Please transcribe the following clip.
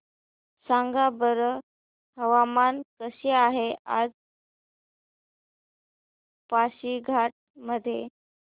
सांगा बरं हवामान कसे आहे आज पासीघाट मध्ये